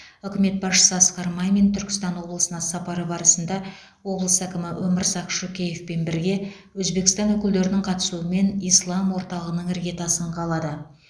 үкімет басшысы асқар мамин түркістан облысына сапары барысында облыс әкімі өмірзақ шөкеевпен бірге өзбекстан өкілдерінің қатысуымен ислам орталығының іргетасын қалады